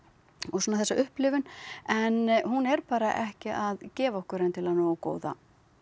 svona þessa upplifun en hún er bara ekki að gefa okkur endilega nógu góða